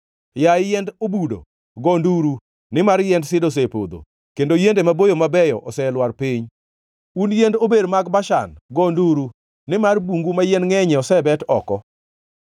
Yaye yiend obudo, go nduru, nimar yiend sida osepodho; kendo yiende maboyo mabeyo oselwar piny. Un yiend ober mag Bashan; go nduru, nimar bungu ma yien ngʼenyie osebet oko.